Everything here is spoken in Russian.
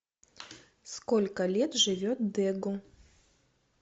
сколько лет живет дегу